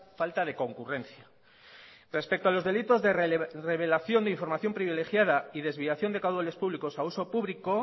falta de concurrencia respecto a los delitos de revelación de información privilegiada y desviación de caudales públicos a uso público